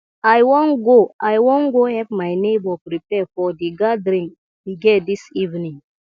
i wan go i wan go help my neighbor prepare for the gathering we get dis evening